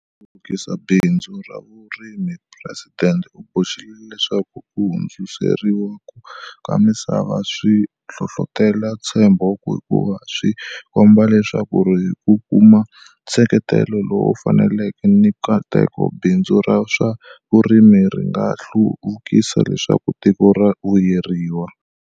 Hluvukisa bindzu ra vurimiPresidente u boxile leswaku ku hundziseriwa ka misava swi hlohlotela ntshembo hikuva swi komba leswaku hi ku kuma nseketelo lowu faneleke ni nkateko, bindzu ra swa vurimi ri nga hlu vukisiwa leswaku tiko ri vuyeriwa.